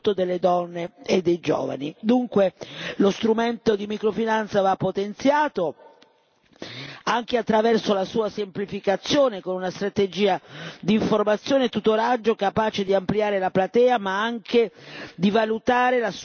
Dunque, lo strumento di microfinanza va potenziato, anche attraverso la sua semplificazione con una strategia di informazione e tutoraggio capace di ampliare la platea, ma anche di valutare la sua sostenibilità e l'occupabilità.